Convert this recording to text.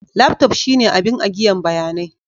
Laftof shine abin agiyan bayanai.